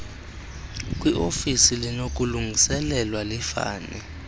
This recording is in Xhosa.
kwiofisi linokulungiselelwa lifanele